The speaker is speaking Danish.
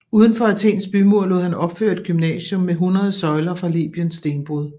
Udenfor Athens bymur lod han opføre et gymnasium med hundrede søjler fra Libyens stenbrud